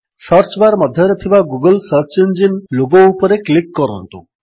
search bar ମଧ୍ୟରେ ଥିବା Google search engine logo ଉପରେ କ୍ଲିକ୍ କରନ୍ତୁ